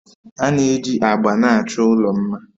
A na-eji agba na-achọ ụlọ mma